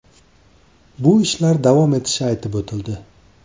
Bu ishlar davom etishi aytib o‘tildi.